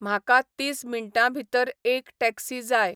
म्हाका तीस मिंटांभितर एक टॅक्सी जाय